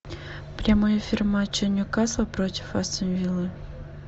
прямой эфир матча ньюкасл против астон виллы